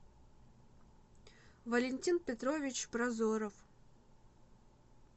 валентин петрович прозоров